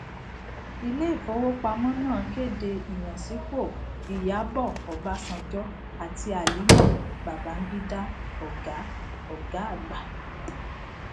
ilé ìfowópamọ náà kéde ìyànsípò ìyábò obasanjo àti halima babangida oga oga àgbà